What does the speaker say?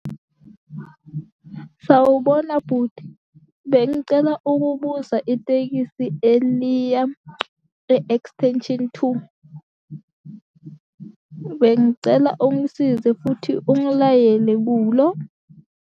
Sawubona bhuti, bengicela ukubuza itekisi eliya e-extension two, bengicela ungisize futhi ungilayele kulo.